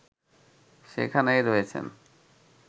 সেখানেই রয়েছেন